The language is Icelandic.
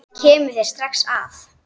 Hann kemur þér strax að.